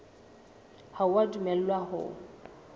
ha o a dumellwa ho